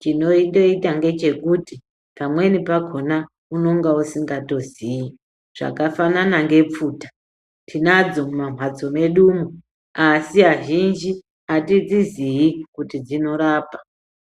Chinondoita ngechekuti pamweni pakona unenge usingatoziyi zvakafanana sepfuta tinadzo mumamhatso mwedumo asi azhinji atidziziyi kuti dzinorapa